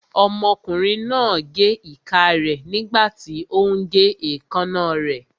Ọmọkùnrin náà gé ìka rẹ̀ nígbàtí ó ún gé èékánná rẹ̀